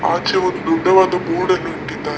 ಆಚೆ ಒಂದು ಉದ್ದವಾದ ಬೋರ್ಡ್ ನ್ನು ಇಟ್ಟಿದ್ದಾರೆ.